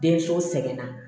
Denmuso sɛbɛn na